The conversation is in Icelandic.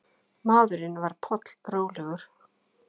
Maðurinn var pollrólegur.